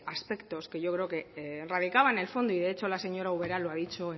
aspectos que yo creo que radicaba en el fondo y de hecho la señora ubera lo ha dicho